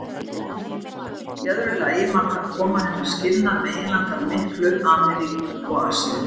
Í öðru lagi markar koma hennar skilnað meginlandanna miklu, Ameríku og Asíu.